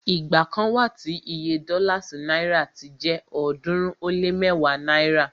igba kan wa tí Iye dọ́là sí náìrà ti jẹ ọ̀ọ́dúnrún ó lé mẹ́wàá náírà